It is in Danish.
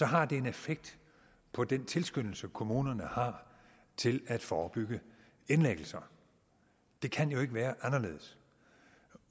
har det en effekt på den tilskyndelse kommunerne har til at forebygge indlæggelser det kan jo ikke være anderledes